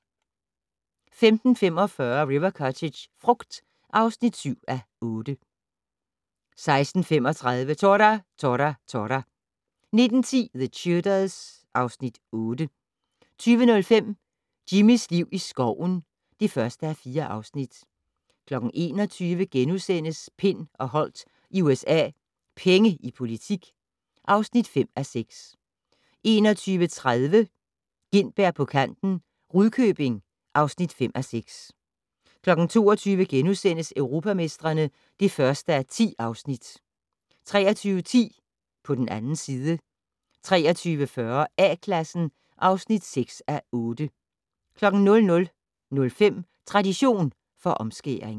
15:45: River Cottage - frugt (7:8) 16:35: Tora! Tora! Tora! 19:10: The Tudors (Afs. 8) 20:05: Jimmys liv i skoven (1:4) 21:00: Pind og Holdt i USA - Penge i politik (5:6)* 21:30: Gintberg på kanten - Rudkøbing (5:6) 22:00: Europamestrene (1:10)* 23:10: På den 2. side 23:40: A-Klassen (6:8) 00:05: Tradition for omskæring